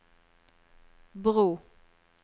bro